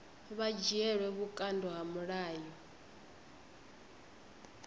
vha dzhielwe vhukando ha mulayo